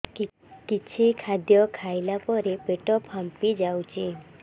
କିଛି ଖାଦ୍ୟ ଖାଇଲା ପରେ ପେଟ ଫାମ୍ପି ଯାଉଛି